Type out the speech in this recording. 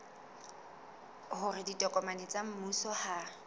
hore ditokomane tsa mmuso ha